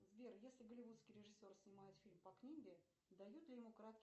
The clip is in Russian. сбер если голливудский режиссер снимает фильм по книге дают ли ему краткий